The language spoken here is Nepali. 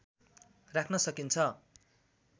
राख्न सकिन्छ